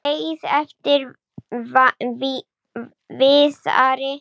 Beið eftir Viðari.